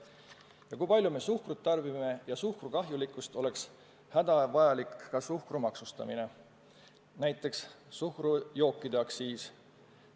Ja kui me palju suhkrut tarbime, kuigi teame suhkru kahjulikkust, oleks hädavajalik ka suhkru maksustamine, näiteks suhkrujookide aktsiis.